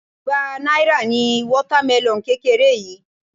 Igba náírà ni water melon kékeré yìí.